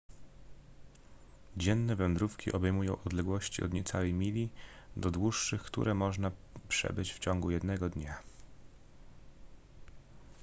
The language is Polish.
dzienne wędrówki obejmują odległości od niecałej mili do dłuższych które można przebyć w ciągu jednego dnia